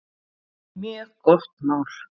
Mjög gott mál.